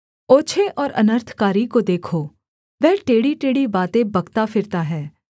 ओछे और अनर्थकारी को देखो वह टेढ़ीटेढ़ी बातें बकता फिरता है